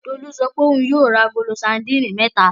Tolú sọ pé òun yóò ra agolo sadínì mẹ́ta.